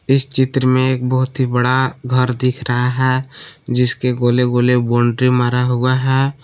इस चित्र में एक बहुत ही बड़ा घर दिख रहा है जिसके गोले गोले बाउंड्री मारा हुआ है।